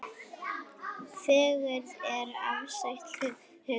Fegurð er afstætt hugtak.